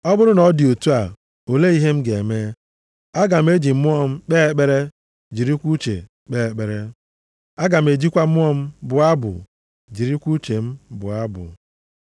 Ọ bụrụ na ọ dị otu a, olee ihe m ga-eme? Aga m eji mmụọ m kpee ekpere, jirikwa uche kpee ekpere. Aga m ejikwa mmụọ m bụọ abụ, jirikwa uche m bụọ abụ.